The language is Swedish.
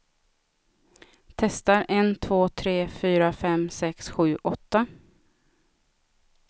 Testar en två tre fyra fem sex sju åtta.